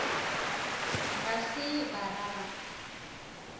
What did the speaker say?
ga se ba ra ba